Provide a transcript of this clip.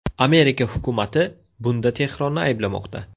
Amerika hukumati bunda Tehronni ayblamoqda.